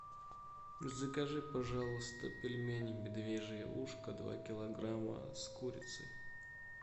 закажи пожалуйста пельмени медвежье ушко два килограмма с курицей